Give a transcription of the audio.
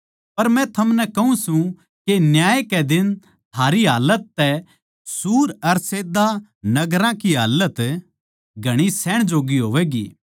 पर थमनै कहूँ सूं के न्याय कै दिन थारी हालत तै सूर अर सैदा नगर की हालत घणी सहण जोग्गी होवैगी